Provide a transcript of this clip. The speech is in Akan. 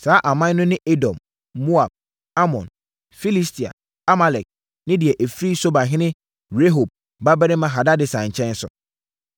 Saa aman no ne Edom, Moab, Amon, Filistia, Amalek ne deɛ ɛfiri Sobahene Rehob babarima Hadadeser nkyɛn nso.